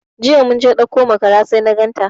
Jiya mun je ɗauko makara sai na ganta.